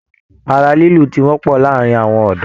Ara lilu tí wọpọ láàárín àwọn ọdọ.